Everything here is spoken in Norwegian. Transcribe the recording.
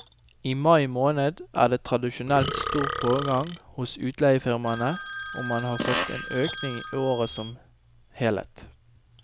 I mai måned er det tradisjonelt stor pågang hos utleiefirmaene, og man har fått en økning i året som helhet.